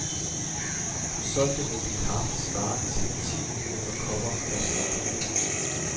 Den solgte mængde kaffe svarer til ti millioner kopper, fastslår hun.